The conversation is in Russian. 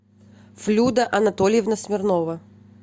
флюда анатольевна смирнова